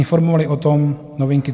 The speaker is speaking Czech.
Informovaly o tom Novinky.cz